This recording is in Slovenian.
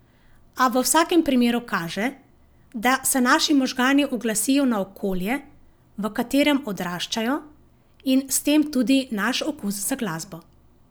A v vsakem primeru kaže, da se naši možgani uglasijo na okolje, v katerem odraščajo, in s tem tudi naš okus za glasbo.